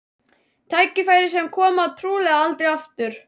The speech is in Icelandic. Tækifæri sem komi trúlega aldrei aftur.